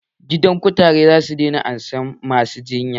Gidan kutaren zasu daina ansan masu jinya